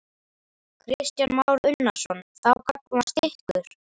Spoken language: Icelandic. Kristján Már Unnarsson: Þá gagnvart ykkur?